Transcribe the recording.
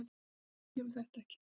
Við skiljum þetta ekki